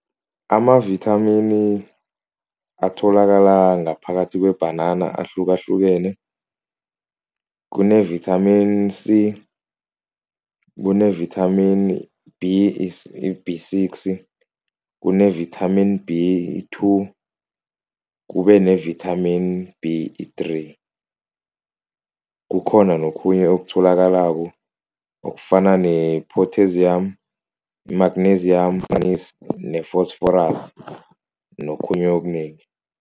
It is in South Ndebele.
Amavithamini atholakala ngaphakathi kwebhanana ahlukahlukene, kunevithamini C, kunevithamini B, B six, kunevithamini B, i-two kube nevithamini B, i-three kukhona nokhunye okutholakala okufana ne-potassium, i-magnesium nefosforasi, nokhunye okunengi.